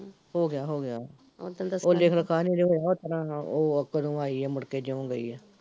ਹੋਗਿਆ ਹੋਗਿਆ ਉਹ ਲਿਖ ਲਿਖਾਂ ਨੀ ਅਜੇ ਹੋਇਆ ਓਸਤਰਾਂ ਉਹ ਕਦੋਂ ਆਈ ਐ ਮੁੜ ਕੇ ਜਿਓ ਗਈ ਐ